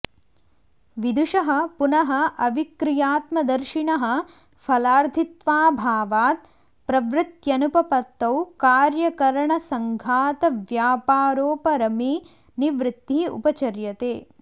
विदुषः पुनः अविक्रियात्मदर्शिनः फलार्थित्वाभावात् प्रवृत्त्यनुपपत्तौ कार्यकरणसङ्घातव्यापारोपरमे निवृत्तिः उपचर्यते